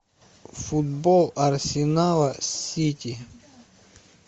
футбол арсенала с сити